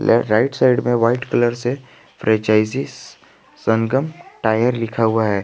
और right side में white colour से फ्रेंचाइजी संगम टायर लिखा हुआ है।